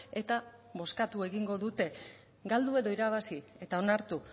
eta bozkatu egingo dute galdu edo irabazi eta onartu